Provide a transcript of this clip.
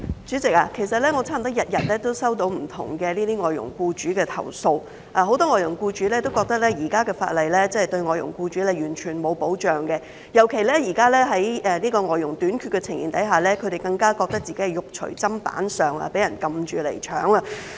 主席，其實我差不多天天都接獲不同外傭僱主的投訴，很多外傭僱主都覺得，現時的法例對外傭僱主毫無保障，尤其在現時外傭短缺的情況下，他們更加覺得自己"肉隨砧板上"，被人"撳住嚟搶"。